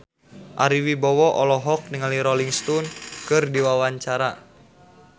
Ari Wibowo olohok ningali Rolling Stone keur diwawancara